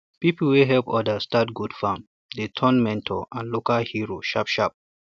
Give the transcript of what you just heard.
people wey help others start goat farm dey turn mentor and local hero sharp sharp